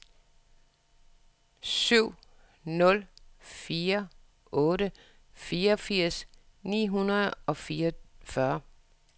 syv nul fire otte fireogfirs ni hundrede og fireogfyrre